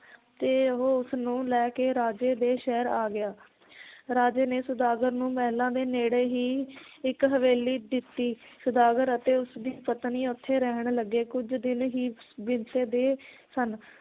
ਤੇ ਉਹ ਉਸ ਨੂੰ ਲੈ ਕੇ ਰਾਜੇ ਦੇ ਸ਼ਹਿਰ ਆ ਗਿਆ ਰਾਜੇ ਨੇ ਸੌਦਾਗਰ ਨੂੰ ਮਹਿਲਾਂ ਦੇ ਨੇੜੇ ਹੀ ਇੱਕ ਹਵੇਲੀ ਦਿੱਤੀ, ਸੌਦਾਗਰ ਅਤੇ ਉਸ ਦੀ ਪਤਨੀ ਓਥੇ ਰਹਿਣ ਲੱਗੇ ਕੁਝ ਦਿਨ ਹੀ ਬੀਤਦੇ ਸਨ